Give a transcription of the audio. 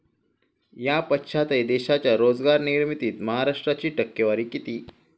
या पश्चातही देशाच्या रोजगार निर्मितीत महाराष्ट्राची टक्केवारी किती?